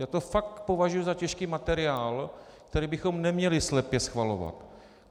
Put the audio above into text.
Já to fakt považuji za těžký materiál, který bychom neměli slepě schvalovat.